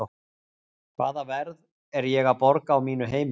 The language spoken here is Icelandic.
Hvaða verð er ég að borga á mínu heimili?